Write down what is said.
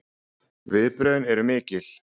Viðbrögðin eru mikil